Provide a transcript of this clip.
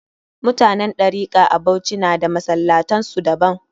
Mutanen Ɗarika a Bauchi na da masallatan su daban